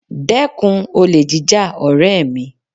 Dẹ́kun olè jíjà ọ̀rẹ́ mi